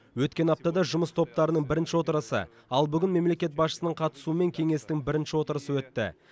өткен аптада жұмыс топтарының бірінші отырысы ал бүгін мемлекет басшысының қатысуымен кеңестің бірінші отырысы өтті